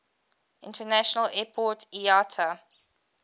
international airport iata